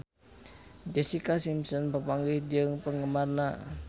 Jessica Simpson papanggih jeung penggemarna